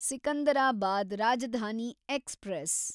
Secunderabad Rajdhani express